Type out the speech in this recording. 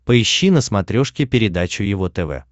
поищи на смотрешке передачу его тв